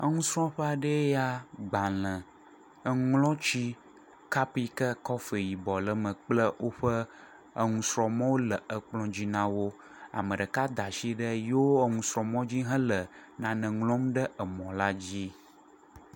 Enusrɔ̃ƒe aɖee ya, gbalẽ, eŋuŋlɔti, kap yi ke kɔfi yibɔ le me kple woƒe enusrɔ̃mɔwo le dzi na wo, ame ɖeka da asi ɖe yewo enusrɔ̃mɔ hele nane ŋlɔm ɖe emɔ la dzi.